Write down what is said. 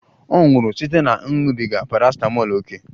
Ọ nwụrụ site na ịṅụbiga parasitamọl ókè